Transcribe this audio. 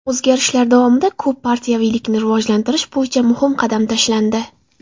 O‘zgarishlar davomida ko‘p partiyaviylikni rivojlantirish bo‘yicha muhim qadam tashlandi.